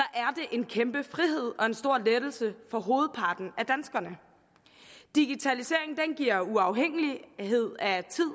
er det en kæmpe frihed og en stor lettelse for hovedparten af danskerne digitaliseringen giver uafhængighed af tid